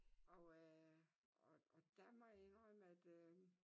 Og øh og og der må jeg indrømme at øh